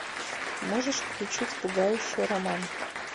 можешь включить пугающий роман